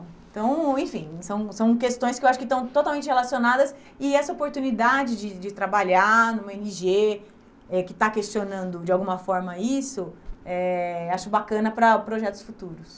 Então, enfim, são são questões que eu acho que estão totalmente relacionadas e essa oportunidade de de trabalhar numa ó ene gê né que está questionando, de alguma forma, isso, eh acho bacana para projetos futuros.